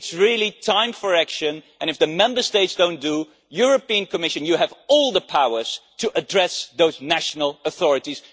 It is really time for action and, if the Member States do not do this, the Commission has all the powers to address those national authorities.